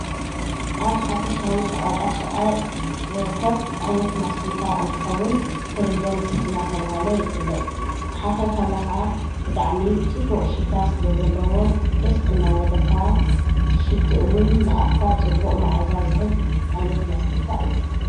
ኣብ ሓፈሻዊ ሸቓጣ ሸቓጥ ዘርከብ ዓይነት ማስቲካ እንትኸውን ትሪደንት እናተብሃለ ይፍለጥ ክትሓኽ የኸለ ኸዓ ብጣዕሚ ጥቡቕ ሽታ ስለ ዘለዎ ደስ እናበለካ ትሽትእውን ንኣፍካ ጽቡእ መዓዛ ዝህብ ዓይነት ማስቲካ እዩ።